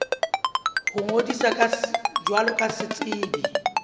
ho ngodisa jwalo ka setsebi